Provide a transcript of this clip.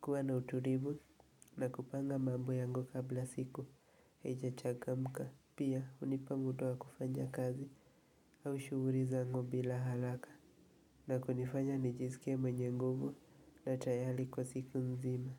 kuwa na utulivu, na kupanga mambo yangu kabla siku, haijachangamka, pia hunipa muda wa kufanya kazi, au shughuli zangu bila haraka, na kunifanya nijisikie mwenye nguvu, na tayari kwa siku mzima.